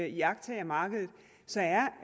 iagttager markedet